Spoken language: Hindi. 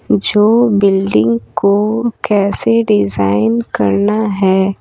जो बिल्डिंग को कैसे डिज़ाइन करना है।